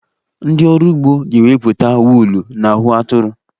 Ndị ọrụ ugbo ga-ewepụta wuulu n'ahụ atụrụ.